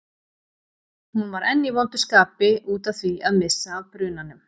Hún var enn í vondu skapi út af því að missa af brunanum.